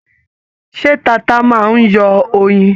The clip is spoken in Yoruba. Ṣé tata máa n yọ oyin?